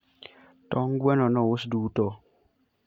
tong gwen nous duto